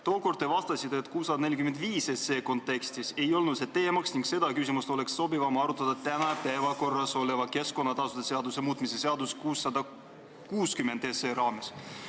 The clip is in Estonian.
Tookord te vastasite, et 645 SE kontekstis ei olnud see teemaks ning et seda küsimust oleks sobivam arutada täna päevakorras oleva keskkonnatasude seaduse muutmise seaduse eelnõu 660 raames.